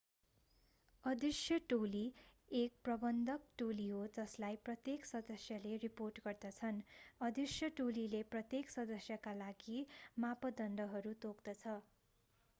अदृश्य टोली एक प्रबन्धक टोली हो जसलाई प्रत्येक सदस्यहरूले रिपोर्ट गर्दछन् अदृश्य टोलीले प्रत्येक सदस्यका लागि मापदण्डहरू तोक्दछ